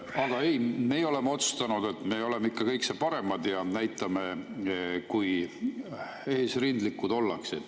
Aga ei, meie oleme otsustanud, et me oleme ikka kõige paremad ja näitame, kui eesrindlikud ollakse.